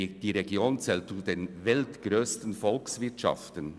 Die Region zählt zu den weltgrössten Volkswirtschaften.